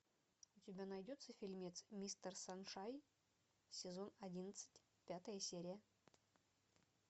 у тебя найдется фильмец мистер саншайн сезон одиннадцать пятая серия